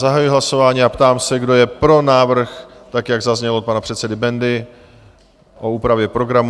Zahajuji hlasování a ptám se, kdo je pro návrh, tak jak zaznělo od pana předsedy Bendy, o úpravě programu?